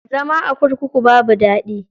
Zama a kurkuku babu daɗi.